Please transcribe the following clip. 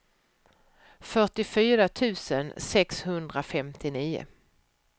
fyrtiofyra tusen sexhundrafemtionio